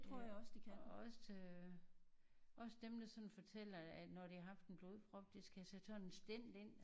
Ja for også også dem der sådan fortæller at når de har haft en blodprop de skal have sat sådan en stent ind